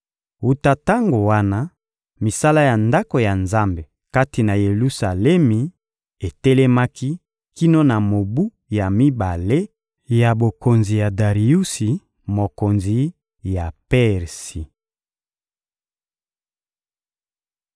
Wuta tango wana, misala ya Ndako ya Nzambe kati na Yelusalemi etelemaki kino na mobu ya mibale ya bokonzi ya Dariusi, mokonzi ya Persi.